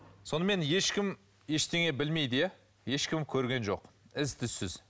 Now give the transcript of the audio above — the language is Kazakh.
сонымен ешкім ештеңе білмейді иә ешкім көрген жоқ із түссіз